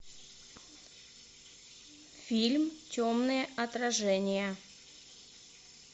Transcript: фильм темные отражения